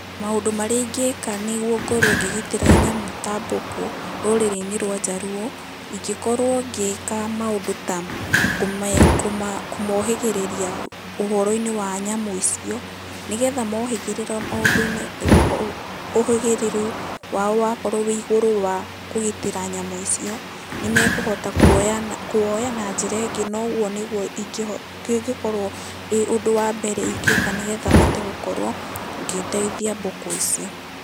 Maũndu marĩa ingĩka nĩguo ngorwo ngĩgitĩra nyamũ ta mbũkũ rũriri-inĩ rwa Jaluo, ingĩ korwo ngĩka maũndũ ta kũmohĩgĩrĩria ũhoro-inĩ wa nyamũ icio, nĩ getha mohĩgĩrĩra maũndũ-inĩ, ũhĩgĩrĩru wao wakorwo wĩ igũrũ wa kũgitĩra nyamũ icio, nĩ mekũhota kũwoya na njĩra ĩngĩ. Na ũguo nĩguo ĩngĩ, kĩngĩkorwo wĩ ũndũ wa mbere ingĩka nĩgetha hote gũkorwo ngĩteithia mbũkũ icio.